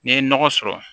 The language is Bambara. N'i ye nɔgɔ sɔrɔ